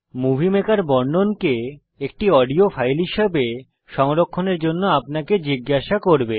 movie maker বর্ণনকে একটি audio file হিসাবে সংরক্ষনের জন্য আপনাকে জিজ্ঞাসা করবে